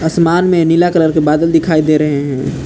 आसमान में नीला कलर के बादल दिखाई दे रहे हैं।